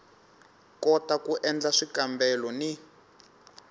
kota ku endla swikambelo ni